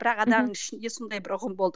бірақ ішінде сондай бір ұғым болды